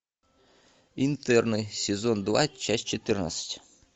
интерны сезон два часть четырнадцать